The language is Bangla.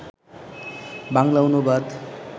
বাংলা অনুবাদ